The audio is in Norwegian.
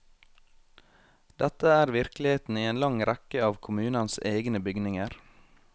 Dette er virkeligheten i en lang rekke av kommunens egne bygninger.